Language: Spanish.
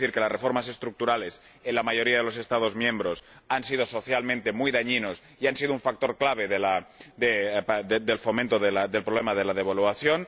Tengo que decir que las reformas estructurales en la mayoría de los Estados miembros han sido socialmente muy dañinas y han sido un factor clave del problema de la devaluación.